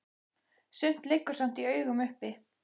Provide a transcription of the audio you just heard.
Sumt liggur samt í augum uppi.